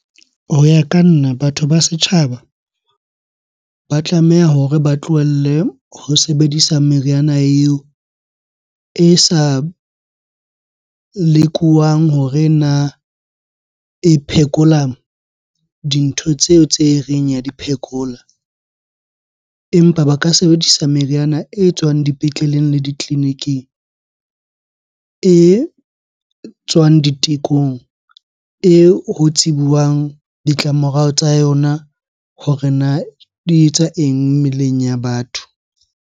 Ho ya ka nna, batho ba setjhaba ba tlameha hore ba tlohelle ho sebedisa meriana eo e sa lekowang hore na e phekola dintho tseo tse reng ya di phekola? Empa ba ka sebedisa meriana e tswang dipetleleng le ditleliniking, e tswang ditekong, eo ho tsebuwang ditlamorao tsa yona hore na di etsa eng mmeleng ya batho?